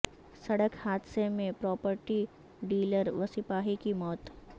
سڑک حاد ثہ میں پراپرٹی ڈ یلر و سپاہی کی موت